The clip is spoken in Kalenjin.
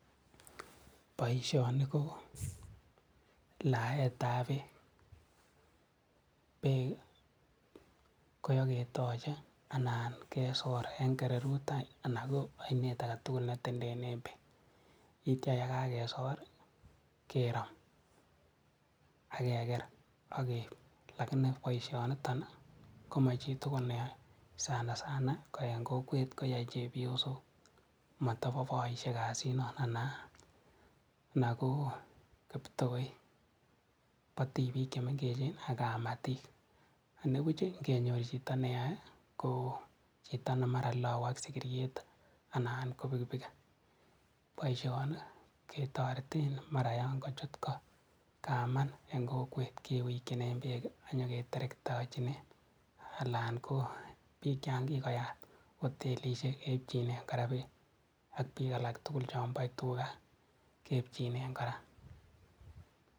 Boisioni koo laetab beek, beek iwoketoche anan kesor en kererutany ana ko ainet aketugul netendenen beek yeityia yekakesor kerom akeker akeip lakini boisionito komochitugul neyoe sanasana ko en kokwet koyoe chebiosok motopoo boisiek kasini ana koo iptoik, bo tibik chemengechen ak kamatik anipuch ingenyor chito neyoe komar lou ak sikiriet anan ko pikipiki boisioni ketoreten mara yongochutko kaman en kokwet kiwikyinen beek anyoketerktochinen alan koo piik changikoyat hotelisiek keipchinen kora beek ak piik alak tugul chompoe tukak keipchinen kora.